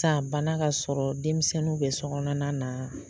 san bana ka sɔrɔ denmisɛnninw bɛ sokɔnɔna na.